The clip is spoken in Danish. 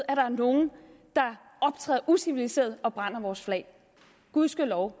er nogen der optræder uciviliseret og brænder vores flag gudskelov